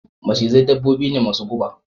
Macizai dabbobi ne masu guba